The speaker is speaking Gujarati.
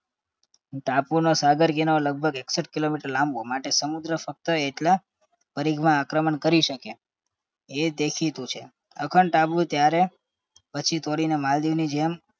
ટાપુનો સાગર ઘેરો લગભગ એકસઠ kilometer લાંબો માટે સમુદ્ર ફક્ત એટલા પરિઘમાં આક્રમણ કરી શકે એ દેખીતું છે. અખંડ ટાપુ ત્યારે પછી તોડીને માલદીવની જેમ